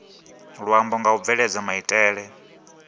luambo nga u bveledza maitele